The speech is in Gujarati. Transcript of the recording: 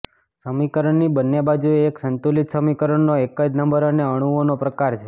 સમીકરણની બંને બાજુએ એક સંતુલિત સમીકરણનો એક જ નંબર અને અણુઓનો પ્રકાર છે